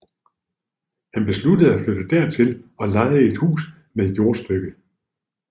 Han besluttede at flytte dertil og lejede et hus med et jordstykke